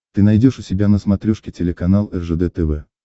ты найдешь у себя на смотрешке телеканал ржд тв